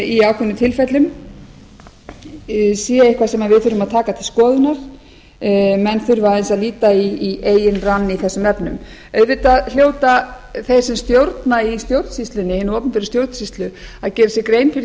í ákveðnum tilfellum sé eitthvað sem við þurfum að taka til skoðunar menn þurfa aðeins að líta í eigin rann í þessum efnum auðvitað hljóta þeir sem stjórna í hinni opinberu stjórnsýslu að gera sér grein fyrir